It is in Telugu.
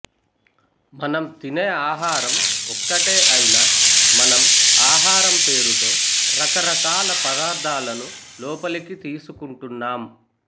మనం తినే ఆహారం ఒక్కటే ఐనా మనం ఆహారం పేరుతో రకరకాల పదార్థాలను లోపలికి తీసుకుంటున్నాం